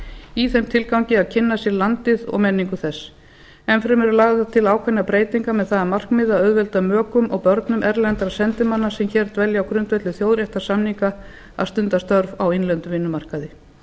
í þeim tilgangi að kynna sér landið og menningu þess enn fremur eru lagðar til ákveðnar breytingar með það að markmiði að auðvelda mökum og börnum erlendra sendimanna sem hér dvelja á grundvelli þjóðréttarsamninga að stunda störf á innlendum vinnumarkaði